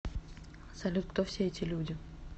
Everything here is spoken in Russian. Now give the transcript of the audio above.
салют кто все эти люди